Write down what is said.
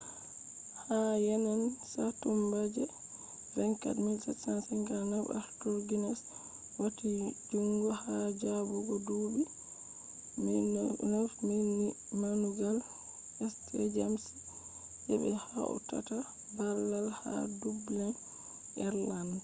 ha yende satumba je 24 1759 arthur guinness wati jungo ha jabugo duubi 9000 ni damugal st james je be hautata baal ha dublin ireland